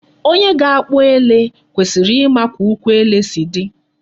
Onye ga-akpụ ele kwesịrị ịma ka ụkwụ ele si dị.